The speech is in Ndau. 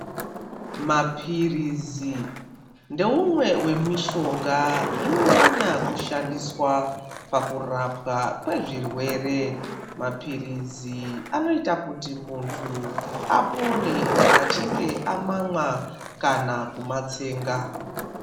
Mapirizi ndeumwe wemishonga inonyanya kushandiswa pakurawa pezvirwere mapirizi anoita kuti muntu apone kana achinge amamwa kana kumatsenga.